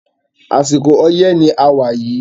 Àsìkò oyẹ́ ni a wà yìí